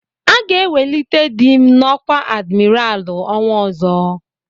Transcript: Aga ewelite dị m n'ọkwá adimiralụ ọnwa ọzọ.